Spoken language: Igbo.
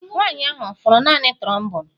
Nwanyị ahụ ọ fụrụ naanị trombone?